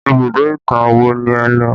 Ibùdó ìtàn wo ni ẹ lo?